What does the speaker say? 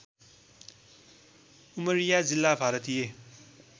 उमरिया जिल्ला भारतीय